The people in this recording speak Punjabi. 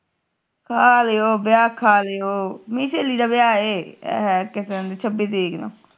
ਖਾਲੀਓ ਵਿਆਹ ਖਾਲੀਓ ਮੇਰੀ ਸਹੇਲੀ ਦਾ ਵਿਆਹ ਹੈ ਕਿਸ ਦਿਨ ਸ਼ਬੀ ਤਾਰੀਕ ਨੂੰ